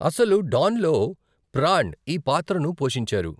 అసలు డాన్లో ప్రాణ్ ఈ పాత్రను పోషించారు.